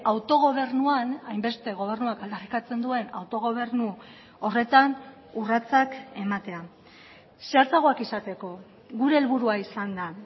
autogobernuan hainbeste gobernuak aldarrikatzen duen autogobernu horretan urratsak ematea zehatzagoak izateko gure helburua izan da